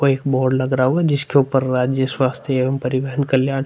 वो एक बोर्ड लग रहा होगा। जिसके ऊपर राज्य स्वास्थ्य एवम परिवहन कल्याण --